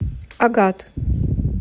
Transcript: агат